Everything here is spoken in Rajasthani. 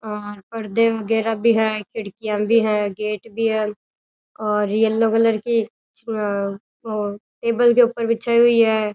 और पर्दे वगैरा भी है खिड़कियां भी है गेट भी है और येलो कलर की टेबल के ऊपर बिछाई हुई है।